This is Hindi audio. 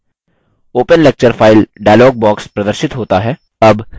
open lecture file dialog box प्रदर्शित होता है